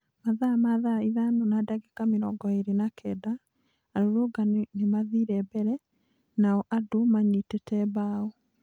Mathaa ma thaa ithano na ndagĩka mĩrongo ĩĩrĩ na kenda, arũrũrũngani nĩmathire mbere na o andũ manyitĩte mbao